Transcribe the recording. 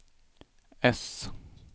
äss